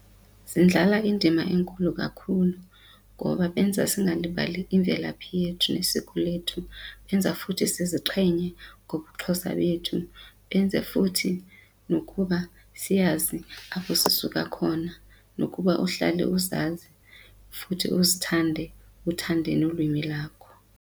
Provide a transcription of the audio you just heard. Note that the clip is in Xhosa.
Zindlala indima enkulu kakhulu ngoba benza singalibali imvelaphi yethu nesiko lethu, benza futhi siziqhenye ngobuXhosa bethu benze zam futhi nokuba siyazi apho sisuka khona nokuba uhlale uzazi futhi uzithande uthande nolwimi lakho.